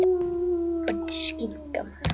Tíminn ljáir öllu skrýtnu hulu hins venjubundna.